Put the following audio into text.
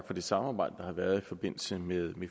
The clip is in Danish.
for det samarbejde der har været i forbindelse med